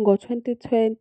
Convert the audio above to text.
Ngo-2020